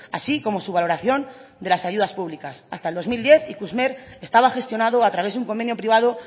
así como su valoración de las ayudas públicas hasta el dos mil diez ikusmer estaba gestionado a través de un convenio privado